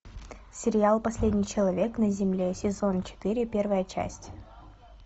сериал последний человек на земле сезон четыре первая часть